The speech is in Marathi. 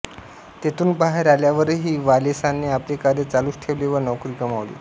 तेथुन बाहेर आल्यावरही वालेंसाने आपले कार्य चालुच ठेवले व नोकरी गमावली